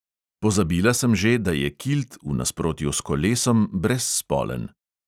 Pozabila sem že, da je kilt v nasprotju s kolesom brezspolen.